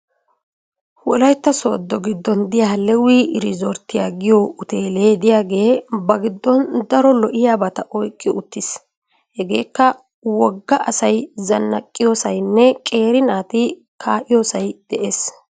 Wolayitta sooddo giddon diya lewi irizorttiua giyo uteele diyagee ba giddon daro lo'iyaabata oyiqqi uttis. Hegeekka wogga asay zannaqqiyosayinne qeeri naati kaa'iyoosay des.